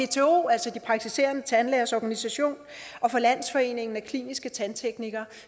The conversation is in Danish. pto altså de praktiserende tandlægers organisation og fra landsforeningen af kliniske tandteknikere